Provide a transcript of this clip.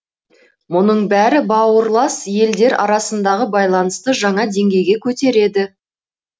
мұның бәрі бауырлас елдер арасындағы байланысты жаңа деңгейге көтереді